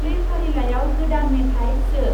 प्लैफारिलाइआव गोदान मेथाय सो।